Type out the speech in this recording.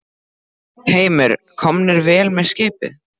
Heimir: Komnir vel með í skipið?